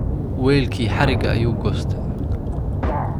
Weylki hariga ayu goystay.